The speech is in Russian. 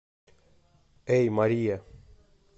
эй мария